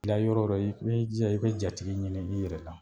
Bila yɔrɔ o yɔrɔ i b'i jija i bɛ jatigi ɲini i yɛrɛ la